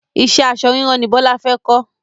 Ìṣe aṣọ ríran ni Bọlá fẹ kọ́